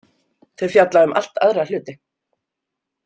Þeir fjalla um allt aðra hluti.